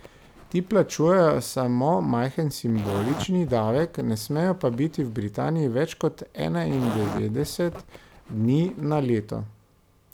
Ti plačujejo samo majhen simbolični davek, ne smejo pa biti v Britaniji več kot enaindevetdeset dni na leto.